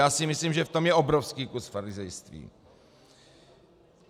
Já si myslím, že v tom je obrovský kus farizejství.